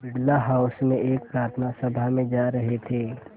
Birla house में एक प्रार्थना सभा में जा रहे थे